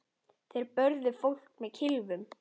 Þeir börðu fólk með kylfum.